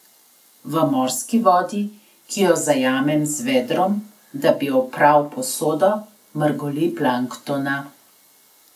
V morski vodi, ki jo zajamem z vedrom, da bi opral posodo, mrgoli planktona.